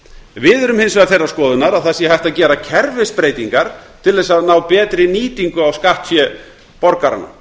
við erum hins vegar þeirrar skoðunar að það sé hægt að gera kerfisbreytingar til að ná betri nýtingu á skattfé borgaranna